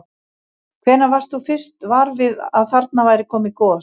Hvenær varst þú fyrst var við að þarna væri komið gos?